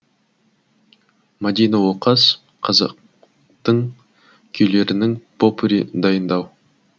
мадина оқас қазақтың күйлерінің попури дайындау